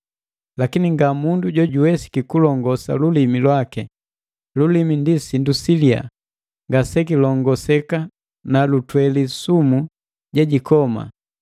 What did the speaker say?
Lakini nga mundu jojuwesiki kulongosa lulimi lwaki. Lulimi ndi sindu siliya, ngasekilongoseka na lutweli sumu jejikoma.